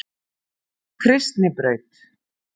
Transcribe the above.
Kristnibraut